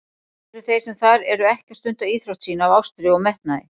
Eru þeir sem þar eru ekki að stunda íþrótt sína af ástríðu og metnaði?